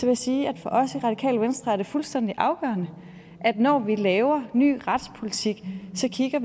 jeg sige at for os i det radikale venstre er det fuldstændig afgørende at vi når vi laver ny retspolitik så kigger